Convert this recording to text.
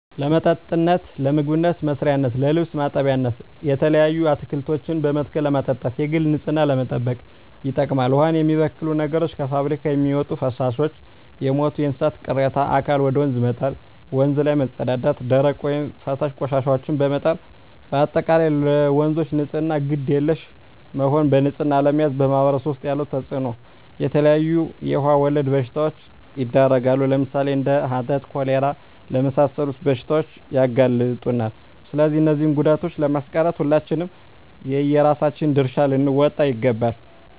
ለመጠጥነት ለምግብ መስሪያነት ለልብስ ማጠቢያነት የተለያዩ አትክልቶችን በመትከል ለማጠጣት የግል ንፅህናን ለመጠበቅ ይጠቅማል ዉሃን የሚበክሉ ነገሮች - ከፍብሪካ የሚወጡ ፈሳሾች - የሞቱ የእንስሳት ቅሬታ አካል ወደ ወንዝ መጣል - ወንዝ ላይ መፀዳዳት - ደረቅ ወይም ፈሳሽ ቆሻሻዎችን በመጣል - በአጠቃላይ ለወንዞች ንፅህና ግድ የለሽ መሆን በንፅህና አለመያዝ በማህበረሰቡ ዉስጥ ያለዉ ተፅእኖ - የተለያዩ የዉሃ ወለድ በሽታዎች ይዳረጋሉ ለምሳሌ፦ እንደ ሀተት፣ ኮሌራ ለመሳሰሉት በሽታዎች ያጋልጡናል ስለዚህ እነዚህን ጉዳቶችን ለማስቀረት ሁላችንም የየራሳችን ድርሻ ልንወጣ ይገባል